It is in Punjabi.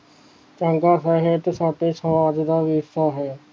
ਚੰਗਾ ਸਾਹਿਤ ਸਾਡੇ ਸਮਾਜ ਦਾ ਹੀ ਹਿੱਸਾ ਹੈ